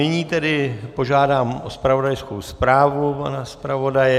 Nyní tedy požádám o zpravodajskou zprávu pana zpravodaje.